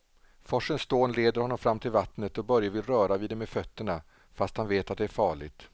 Forsens dån leder honom fram till vattnet och Börje vill röra vid det med fötterna, fast han vet att det är farligt.